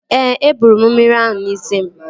Ee, e bụrụ m mmiri ahụ n'isi m